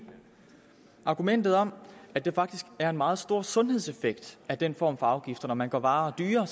argumentet om at der faktisk er en meget stor sundhedseffekt af den form for afgifter når man gør varer dyrere